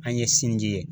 An ye sinji ye